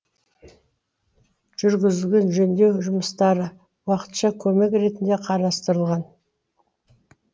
жүргізілген жөндеу жұмыстары уақытша көмек ретінде қарастырылған